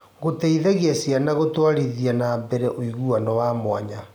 Gũteithagia ciana gũtwarithia na mbere ũiguano wa mwanya.